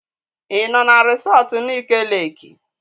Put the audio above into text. Ị nọ na resọtu Nike Leeki?